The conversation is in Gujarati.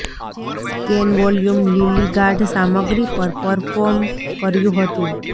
સ્કેન વોલ્યુમ લિલી ગાઢ સામગ્રી પર પરફોર્મ કર્યું હતું